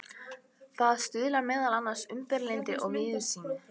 Það stuðlar meðal annars að umburðarlyndi og víðsýni.